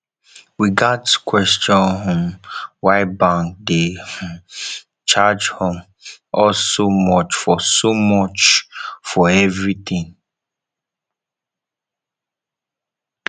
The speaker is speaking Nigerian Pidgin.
we gats question um why bank dey um charge um us so much for so much for everything